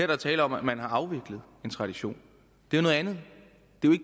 der tale om at man har afviklet en tradition det er noget andet